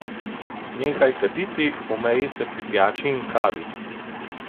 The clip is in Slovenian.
Nehaj kaditi, omeji se pri pijači in kavi.